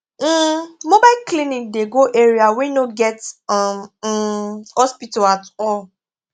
um mobile clinic dey go area wey no get um um hospital at all